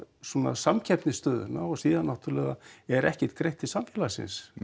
samkeppnisstöðuna og síðan náttúrulega er ekkert greitt til samfélagsins